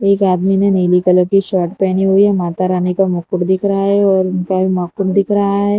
एक आदमी ने नीली कलर की शर्ट पहनी हुई है माता रानी का मुकुट दिख रहा है और उनका नाखून दिख रहा है।